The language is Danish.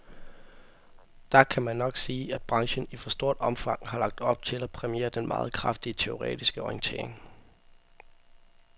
Der kan man nok sige, at branchen i for stort omfang har lagt op til at præmiere den meget kraftige teoretiske orientering.